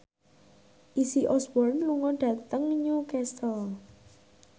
Izzy Osborne lunga dhateng Newcastle